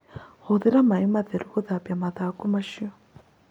Hũthĩra maĩ matheru gũthambia mathangũ macio